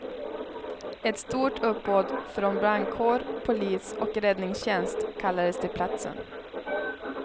Ett stort uppbåd från brandkår, polis och räddningstjänst kallades till platsen.